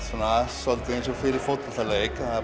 svolítið eins og fyrir fótboltaleik